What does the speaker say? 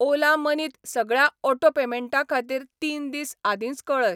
Ola money त सगळ्या auto पेमेंटां खातीर तीन दीस आदींच कऴय.